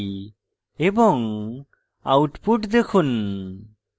এবং output দেখুন